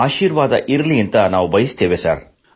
ನಿಮ್ಮ ಆಶೀರ್ವಾದವಿರಲಿ ಎಂದು ನಾವು ಬಯಸುತ್ತೇವೆ